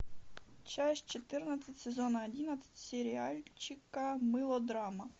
часть четырнадцать сезона одиннадцать сериальчика мылодрама